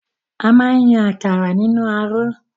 A máa n yàn àkàrà nínú aró.